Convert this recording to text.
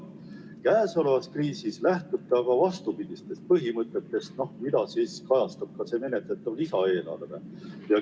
Käesolevas kriisis lähtute aga vastupidistest põhimõtetest, mida kajastab ka menetletav lisaeelarve.